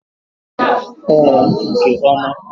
Ee, nke oma.